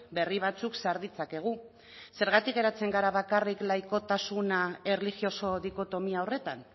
berri batzuk sar ditzakegu zergatik geratzen gara bakarrik laikotasuna erlijioso dikotomia horretan